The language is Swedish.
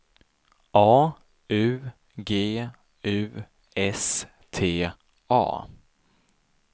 A U G U S T A